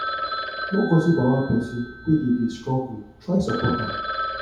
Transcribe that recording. no gossip about pesin wey dey dey struggle try support am